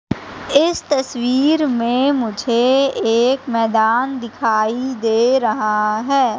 इस तस्वीर में मुझे एक मैदान दिखाई दे रहा हैं।